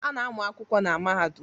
A na-amụ akwụkwọ na mahadum